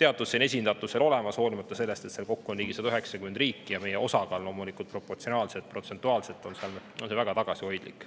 teatud esindatus olemas, hoolimata sellest, et seal kokku on ligi 190 riiki ja meie osakaal loomulikult proportsionaalselt ja protsentuaalselt on väga tagasihoidlik.